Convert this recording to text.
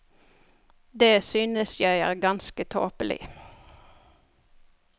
Det synes jeg er ganske tåpelig.